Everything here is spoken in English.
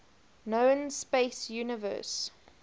known space universe